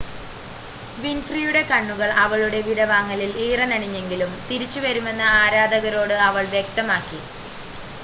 വിൻഫ്രിയുടെ കണ്ണുകൾ അവളുടെ വിടവാങ്ങലിൽ ഈറനണിഞ്ഞെങ്കിലും തിരിച്ച് വരുമെന്ന് ആരാധകരോട് അവൾ വ്യക്തമാക്കി